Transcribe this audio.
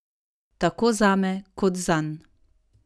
Tako zame kot zanj.